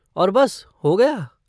और बस हो गया?